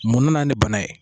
Mun na ni bana ye